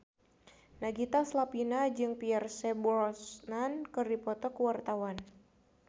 Nagita Slavina jeung Pierce Brosnan keur dipoto ku wartawan